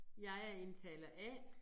Jeg er indtaler A